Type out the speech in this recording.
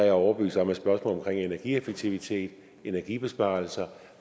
er overbevist om at spørgsmålet om energieffektivitet energibesparelser